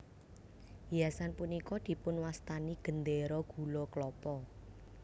Hiasan punika dipun wastani Gendera Gula Klapa